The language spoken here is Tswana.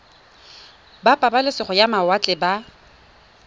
ba pabalesego ya mawatle ba